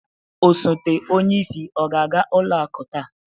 Osoto onyeisi ọ ga-aga ụlọ akụ taa?